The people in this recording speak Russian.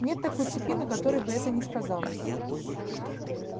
нет такой цепи на которой бы это не сказалось